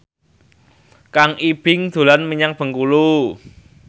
Kang Ibing dolan menyang Bengkulu